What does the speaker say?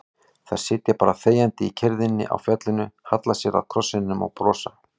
Þær sitja bara þegjandi í kyrrðinni á fjallinu, halla sér að krossinum og brosa.